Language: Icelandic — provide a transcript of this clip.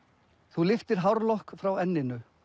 þú lyftir hárlokk frá enninu